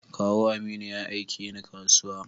Kawu Aminu ya aike ni kasuwa.